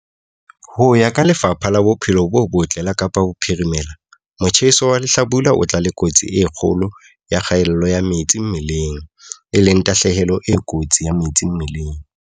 Ho ya ka Lefapha la Bophelo bo Botle la Kapa Bophirimela, motjheso wa lehlabula o tla le kotsi e kgolo ya kgaello ya metsi mmeleng, e leng tahlehelo e kotsi ya metsi mmeleng.